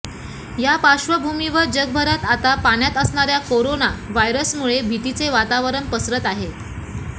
या पार्श्वभूमीवर जगभरात आता पाण्यात असणाऱ्या करोना व्हायरसमुळे भीतीचे वातावरण पसरत आहे